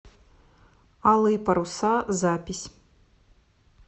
алые паруса запись